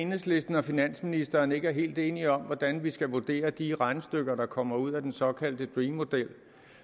enhedslisten og finansministeren ikke er helt enige om hvordan vi skal vurdere de regnestykker der kommer ud af den såkaldte dream model